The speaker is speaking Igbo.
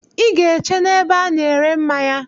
I ga-eche n'ebe a na-ere mmanya.